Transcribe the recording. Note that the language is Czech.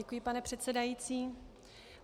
Děkuji, pane předsedající.